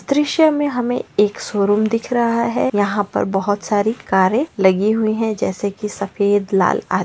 दृश्य में हमे एक शोरूम दिख रहा है यहाँ पर बहुत सारी कारे लगी हुई है जैसे सफ़ेद लाल आ--